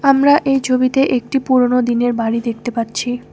আমরা এই ছবিতে একটি পুরোনো দিনের বাড়ি দেখতে পাচ্ছি।